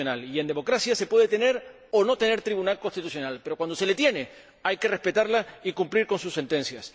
Y en democracia se puede o no se puede tener tribunal constitucional, pero cuando se tiene, hay que respetarlo y cumplir con sus sentencias.